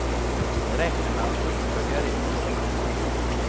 Vi räknar med att fullfölja det uppdrag vi har.